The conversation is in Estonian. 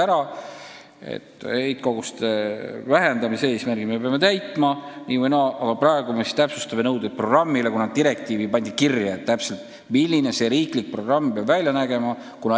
Saasteainete heitkoguste vähendamise eesmärgi me peame täitma nii või naa, aga praegu me täpsustame nõudeid programmile, kuna direktiivis on konkreetselt kirjas, milline see riiklik programm peab välja nägema.